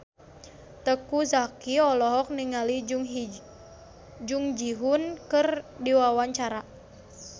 Teuku Zacky olohok ningali Jung Ji Hoon keur diwawancara